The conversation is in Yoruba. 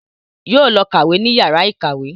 Yóò lọ kàwé ní yàrá ìkàwé